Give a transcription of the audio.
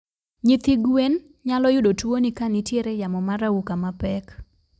Nyithi gwen nyalo yudo tuo ni kan nitiere yamo mar auka mapek